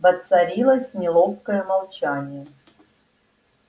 воцарилось неловкое молчание